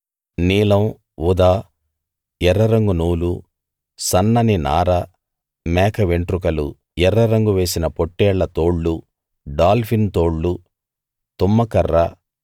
నీలం ఊదా ఎర్రరంగు నూలు సన్నని నార మేక వెంట్రుకలు ఎర్ర రంగు వేసిన పొట్టేళ్ల తోళ్లు డాల్ఫిన్ తోళ్లు తుమ్మకర్ర